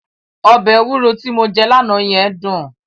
Ọbẹ̀ ewúro ti mo jẹ́ lánàá yẹn dùn.